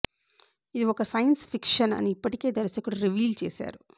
ఇది ఒక science fiction అని ఇప్పటికే దర్శకుడు రివీల్ చేసారు